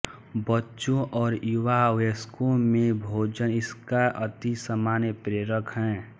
बच्चों और युवा वयस्कों में भोजन इसका अति सामान्य प्रेरक है